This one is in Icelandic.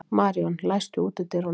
Maríon, læstu útidyrunum.